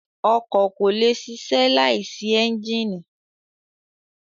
Ọkọ ko le sisẹ laisi ẹnjínì